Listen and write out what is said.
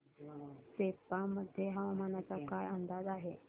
सेप्पा मध्ये हवामानाचा काय अंदाज आहे